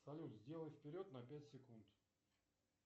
салют сделай вперед на пять секунд